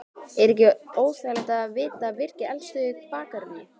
Er ekkert óþægilegt að vita af virkri eldstöð í bakgarðinum?